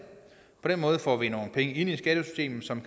på den måde får vi nogle penge ind i skattesystemet som